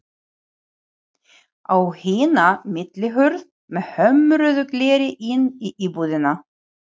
Á hina millihurð með hömruðu gleri inn í íbúðina.